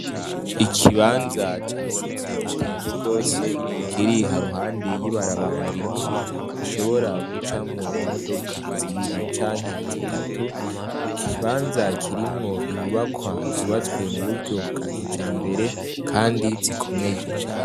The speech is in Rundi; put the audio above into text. ikibanza cyagutse cyane gose kiri haruhande y'ibarabara ri nini rishobora gucamwo imodoka zibiri canke zitatu ikibanza kirimwo inyubakwa zubatswe mu buryo bwakijambere kandi zikomeye